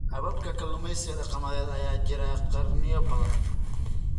Hababka kalluumeysiga dhaqameed ayaa jiray qarniyo badan.